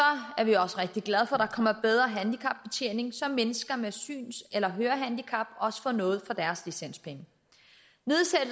er vi også rigtig glade for at der kommer bedre handicapbetjening så mennesker med syns eller hørehandicap også får noget for deres licenspenge